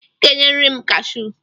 I ga-enyeriri m kashụ!